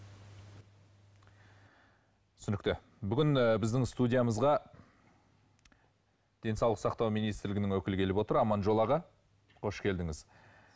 түсінікті бүгін ы біздің студиямызға денсаулық сақтау министрлігінің өкілі келіп отыр аманжол аға қош келдіңіз